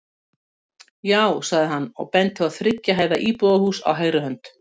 Já, sagði hann og benti á þriggja hæða íbúðarhús á hægri hönd.